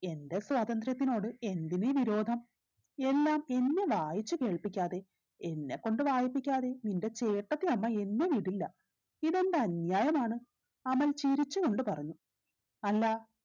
എന്റെ സ്വാതന്ത്ര്യത്തിനോട് എന്തിനീ വിരോധം എല്ലാം എന്നെ വായിച്ചു കേൾപ്പിക്കാതെ എന്നെ ക്കൊണ്ട് വായിപ്പിക്കാതെയും നിന്റെ ചേട്ടത്തിയമ്മ എന്നെ വിടില്ല ഇതെന്ത് അന്യായമാണ് അമൽ ചിരിച്ചു കൊണ്ട് പറഞ്ഞു അല്ലാ